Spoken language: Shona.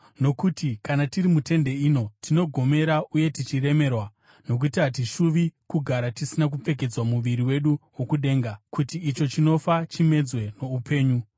Nokuti kana tiri mutende ino, tinogomera uye tichiremerwa, nokuti hatishuvi kugara tisina kupfekedzwa muviri wedu wokudenga, kuti icho chinofa chimedzwe noupenyu.